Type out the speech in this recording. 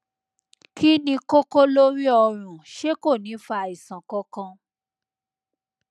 kí ni kókó lórí ọrun ṣé kò ní fa àìsàn kankan